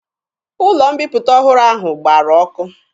Ụlọ mbiputa ọhụrụ ahụ gbara ọkụ.